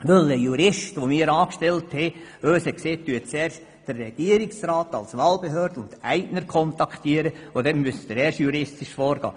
Ein Jurist, den wir angestellt haben, hat uns gesagt, dass ich zuerst den Regierungsrat als Wahlbehörde und Eigner kontaktieren soll und erst dann müsse ich juristisch vorgehen.